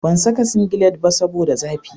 Ban saka singilet ba saboda zafi